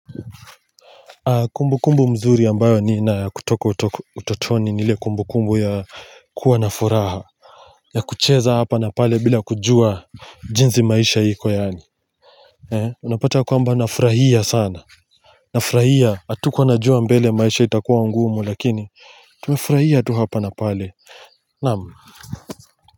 Kumbu kumbu nzuri ambayo nina ya kutoka utotoni nile kumbu kumbu ya kuwa na furaha ya kucheza hapa na pale bila kujua jinzi maisha iko yani unapata kwamba nafrahia sana Nafrahia atukuwa najua mbele maisha itakuwa ngumu lakini Tumefrahia tu hapa na pale Naamu.